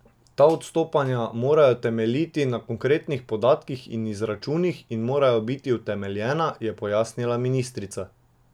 Ta odstopanja morajo temeljiti na konkretnih podatkih in izračunih in morajo biti utemeljena, je pojasnila ministrica.